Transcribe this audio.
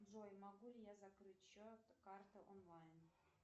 джой могу ли я закрыть счет картой онлайн